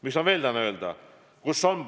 Mis ma veel tahan öelda?